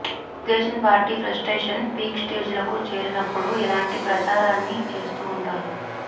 Telugu Desam party frustration peak స్టేజీలకు చేరినప్పుడు ఇలాంటి ప్రచారాన్ని చేస్తూ ఉంటారు